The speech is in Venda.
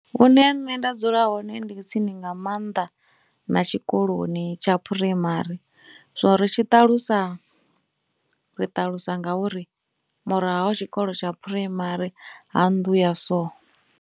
Hune nṋe nda dzula hone ndi tsini nga maanḓa na tshikoloni tsha phuraimari so ri tshi ṱalusa ri ṱalusa ngauri murahu ha tshikolo tsha phuraimari ha nnḓu ya so.